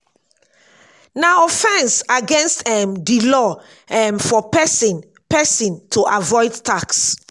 na offense against um di law um for person person to avoid tax